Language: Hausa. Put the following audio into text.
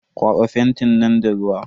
Kwaba fentin nan da ruwa.